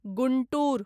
Guntur